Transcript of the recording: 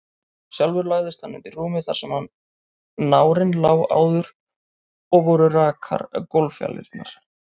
Sjálfur lagðist hann undir rúmið þar sem nárinn lá áður, og voru rakar gólffjalirnar.